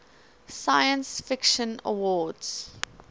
science fiction awards